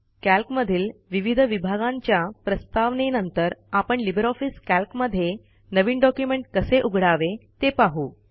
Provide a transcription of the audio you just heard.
calc मधील विविध विभागांच्या प्रस्तावनेनंतर आपण लिबर ऑफिस कॅल्क मध्ये नवीन डॉक्युमेंट कसे उघडावे ते पाहू